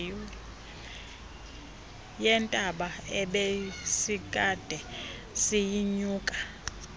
yentaba ebesikade siyinyuka